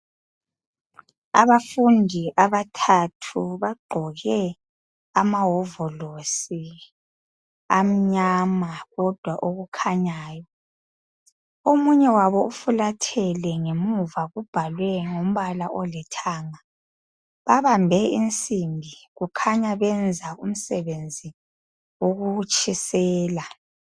Abafundi abathathu bagqoke amawovolosi amnyama kodwa okukhanyayo. Omunye wabo ufulathele ngemuva kubhalwe ngombala olithanga, babambe insimbi kukhanya benza umsebenzi wokutshisela